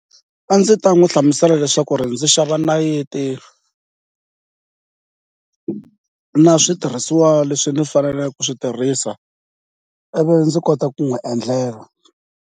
A ndzi ta n'wi hlamusela leswaku ndzi xava nayiti na switirhisiwa leswi ndzi faneleke ku swi tirhisa ivi ndzi kota ku n'wi endlela.